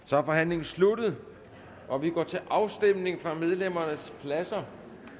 så er forhandlingen sluttet og vi går til afstemning fra medlemmernes pladser